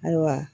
Ayiwa